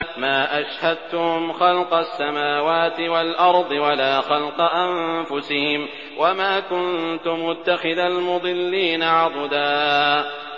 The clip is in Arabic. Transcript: ۞ مَّا أَشْهَدتُّهُمْ خَلْقَ السَّمَاوَاتِ وَالْأَرْضِ وَلَا خَلْقَ أَنفُسِهِمْ وَمَا كُنتُ مُتَّخِذَ الْمُضِلِّينَ عَضُدًا